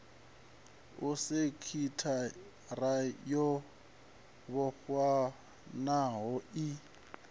a sekithara yo vhofhanaho i